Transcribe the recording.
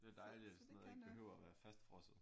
Det er da dejligt at sådan noget ikke behøver at være fastfrosset